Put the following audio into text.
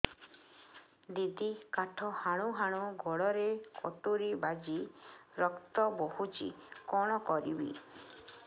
ଦିଦି କାଠ ହାଣୁ ହାଣୁ ଗୋଡରେ କଟୁରୀ ବାଜି ରକ୍ତ ବୋହୁଛି କଣ କରିବି